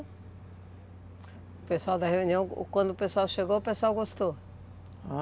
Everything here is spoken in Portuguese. O pessoal da reunião, quando o pessoal chegou, o pessoal gostou?